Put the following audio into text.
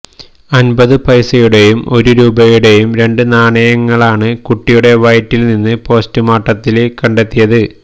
അൻപത് പൈസയുടെയും ഒരു രൂപയുടെയും രണ്ട് നാണയങ്ങളാണ് കുട്ടിയുടെ വയറ്റിൽ നിന്ന് പോസ്റ്റുമോര്ട്ടത്തില് കണ്ടെത്തിയത്